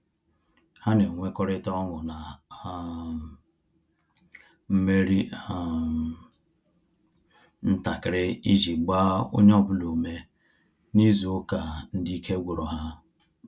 Ha na enwekọrita ọṅụ na um mmeri um ntakịrị iji gbaa onye ọbụla ume n'izu ụka ndị ike gwụrụ ha